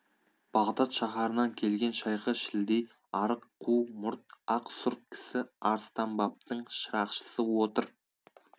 бағдад шаһарынан келген шайқы шілдей арық қу мұрт ақ сұр кісі арыстанбаптың шырақшысы отыр